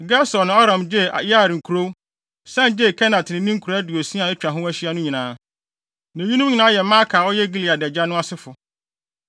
(Akyiri no, Gesur ne Aram gyee Yair nkurow, san gyee Kenat ne ne nkuraa aduosia a atwa ho ahyia no nyinaa.) Na eyinom nyinaa yɛ Makir a ɔyɛ Gilead agya no asefo.